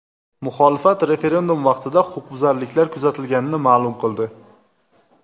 Muxolifat referendum vaqtida huquqbuzarliklar kuzatilganini ma’lum qildi.